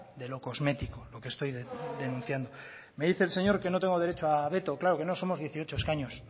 de lo cosmético lo que estoy denunciando me dice el señor que no tengo derecho a veto claro que no somos dieciocho escaños